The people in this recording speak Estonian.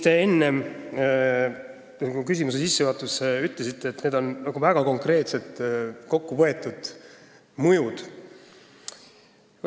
Kõik see, mis te oma küsimuse sissejuhatuses ütlesite, on väga konkreetselt kokku võetud mõjud.